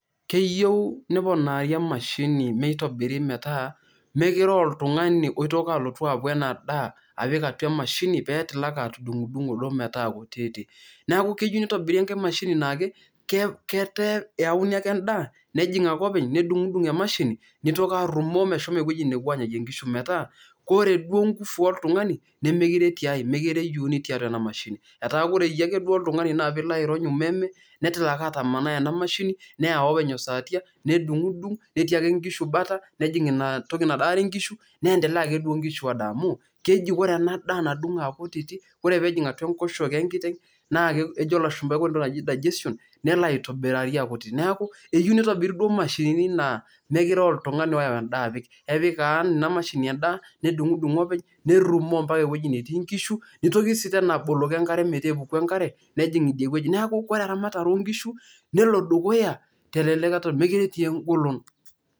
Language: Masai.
keyieu neponari emashini meitobiri metaa mekire oltung'ani oitoki alotu aku enadaa apik atua emashini petilaki atudung'udung'o metaa kutiti naku keyieu nitobiri enkae mashini naake, ketaa eyauni ake endaa nejing ake openy nedung'dung emashini nitoki arrumoo meshomo ewueji nepuo anyayie inkishu metaa kore duo ingufu oltung'ani nemekire etiae, mekire eyieuni netii atua ena mashini etaa kore akeyie duo ake oltung'ani naa piilo ake airony umeme netilaki atamanai ena mashini neyau openy osatia nedung'udung netii ake inkishu bata nejing inatoki nadaare inkishu niendelea ake duo inkishu adaa amu keji kore ena daa nadung'o akutiti keji ore peejing atua enkoshoke enkiteng naa kejo ilashumpa kore entoki naji digestion nelo aitobirari akuti, neeku eyieu nitobiri duo imashinini naa mekire uh, oltung'ani oyau endaa apik, epik kan ina mashini endaa nedung'udung openy nerrumoo mpaka ewueji netii inkishu nitoki sii tena aboloki enkare metaa epuku enkare nejing idie wueji neeku kore eramatare onkishu nelo dukuya telelekata mekire etii engolon.